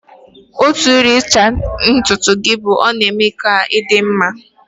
Otu n'ime uru ịcha ntutu gị bụ na ọ na-eme ka ị dị mma